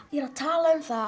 ég er að tala um það að